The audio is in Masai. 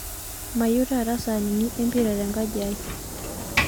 Mayieu taata saanini empirai tenkajiai